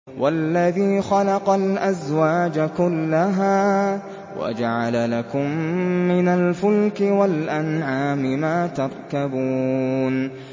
وَالَّذِي خَلَقَ الْأَزْوَاجَ كُلَّهَا وَجَعَلَ لَكُم مِّنَ الْفُلْكِ وَالْأَنْعَامِ مَا تَرْكَبُونَ